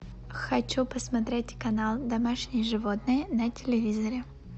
хочу посмотреть канал домашние животные на телевизоре